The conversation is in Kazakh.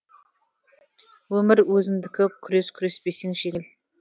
өмір өзіңдікі күрес күреспесең жеңіл